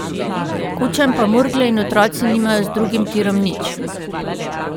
Kučan pa Murgle in otroci nimajo z drugim tirom nič.